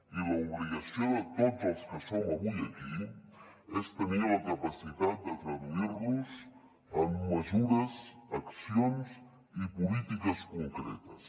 i l’obligació de tots els que som avui aquí és tenir la capacitat de traduir los en mesures accions i polítiques concretes